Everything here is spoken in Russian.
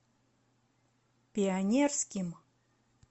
пионерским